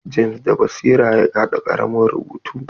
James da basira ya haɗa ƙaramin rubutu.